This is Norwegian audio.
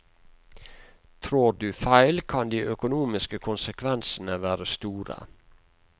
Trår du feil, kan de økonomiske konsekvensene være store.